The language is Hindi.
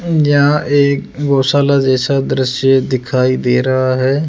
जहां एक गौशाला जैसा दृश्य दिखाई दे रहा है।